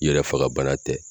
Yɛrɛ faga bana tɛ